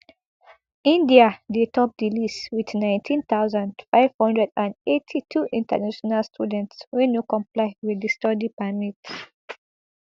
indiadey top di list wit nineteen thousand, five hundred and eighty-two international students wey no comply wit di study permit